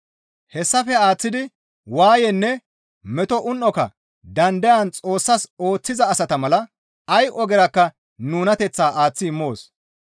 Hessafe aaththidi waayenne meto un7oka dandayan Xoossas ooththiza asata mala ay ogerakka nunateththaa aaththi immoos.